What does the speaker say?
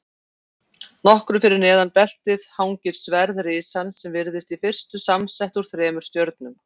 Nokkru fyrir neðan beltið hangir sverð risans sem virðist í fyrstu samsett úr þremur stjörnum.